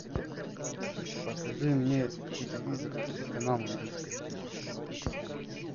покажи мне телевизор телеканал индийское кино